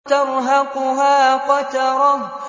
تَرْهَقُهَا قَتَرَةٌ